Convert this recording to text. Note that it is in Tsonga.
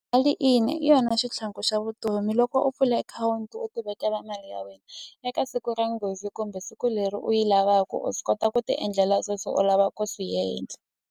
Mali ina hi yona xitlhangu xa vutomi loko u pfula akhawunti u ti vekela mali ya eka siku ra nghozi kumbe siku leri u yi lavaku u swi kota ku ti endlela sweswo u lava ku swi yendla.